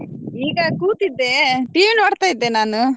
ಈಗ ಕೂತಿದ್ದೆ TV ನೋಡ್ತಾ ಇದ್ದೆ ನಾನು.